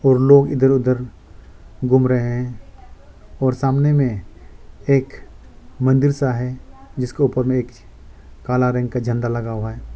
और लोग इधर उधर घूम रहे हैं और सामने में एक मंदिर सा है जिसको ऊपर में एक काला रंग का झंडा लगा हुआ है।